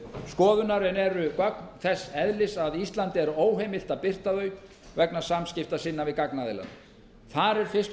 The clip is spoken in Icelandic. skoðunar en eru gögn þess eðlis að íslandi er óheimilt að birta þau vegna samskipta sinna við gagnaðilann þar er fyrst og